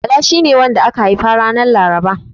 Bala shine wanda aka haifa ranar Laraba.